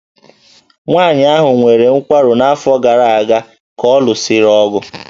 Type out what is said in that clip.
Nwaanyị ahụ nwere nkwarụ n'afọ gara aga ka ọ lụsịrị ọgụ